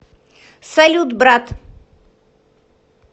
салют брат